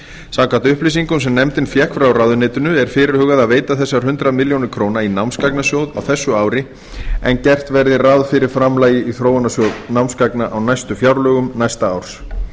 samkvæmt upplýsingum sem nefndin fékk frá ráðuneytinu er fyrirhugað að veita þessar hundrað milljónir króna í námsgagnasjóð á þessu ári en gert verði ráð fyrir framlagi í þróunarsjóð námsgagna á fjárlögum næsta árs